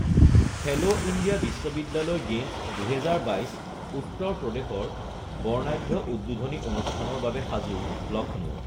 খেলো ইণ্ডিয়া বিশ্ববিদ্যালয় গেমছ ২০২২ উত্তৰ প্ৰদেশৰ বৰ্ণাঢ্য উদ্বোধনী অনুষ্ঠানৰ বাবে সাজু লক্ষ্ণৌ